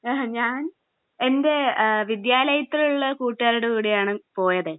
ഹ് ഞാൻ എന്റെ വിദ്യാലയത്തിൽ ഉള്ള കൂട്ടുകാരുടെ കൂടെയാണ് പോയത്.